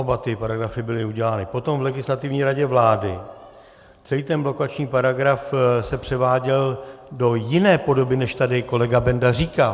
Oba ty paragrafy byly udělány potom v Legislativní radě vlády, celý ten blokační paragraf se převáděl do jiné podoby, než tady kolega Benda říká.